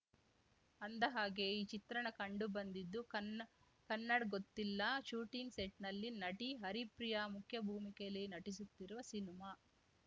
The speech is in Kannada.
ಅಂದಹಾಗೆ ಈ ಚಿತ್ರಣ ಕಂಡುಬಂದಿದ್ದು ಕನ್ನ ಕನ್ನಡ್‌ ಗೊತ್ತಿಲ್ಲಾ ಶೂಟಿಂಗ್‌ ಸೆಟ್‌ನಲ್ಲಿ ನಟಿ ಹರಿಪ್ರಿಯಾ ಮುಖ್ಯಭೂಮಿಕೆಯಲ್ಲಿ ನಟಿಸುತ್ತಿರುವ ಸಿನಿಮಾ